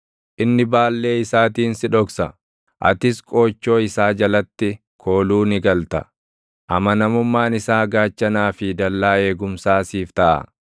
Inni baallee isaatiin si dhoksa; atis qoochoo isaa jalatti kooluu ni galta; amanamummaan isaa gaachanaa fi dallaa eegumsaa siif taʼa.